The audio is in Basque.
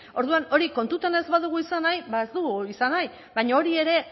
orduan hori kontutan ez badugu izan nahi ba ez dugu izan nahi baina hori ere